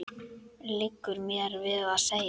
liggur mér við að segja.